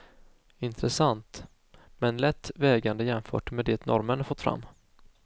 Intressant, men lätt vägande jämfört med det norrmännen fått fram.